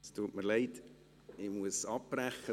Es tut mir leid, ich muss abbrechen.